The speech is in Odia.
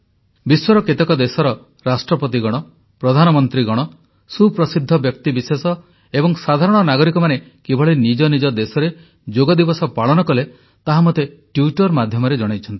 ବିଶ୍ୱର କେତେକ ଦେଶର ରାଷ୍ଟ୍ରପତିଗଣ ପ୍ରଧାନମନ୍ତ୍ରୀଗଣ ସୁପ୍ରସିଦ୍ଧ ବ୍ୟକ୍ତିବିଶେଷ ଏବଂ ସାଧାରଣ ନାଗରିକମାନେ କିଭଳି ନିଜ ନିଜ ଦେଶରେ ଯୋଗ ଦିବସ ପାଳନ କଲେ ତାହା ମୋତେ ଟ୍ୱିଟ୍ଟର୍ ମାଧ୍ୟମରେ ଜଣାଇଛନ୍ତି